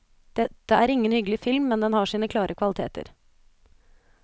Dette er ingen hyggelig film, men den har sine klare kvaliteter.